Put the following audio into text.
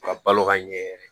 Ka balo ka ɲɛ yɛrɛ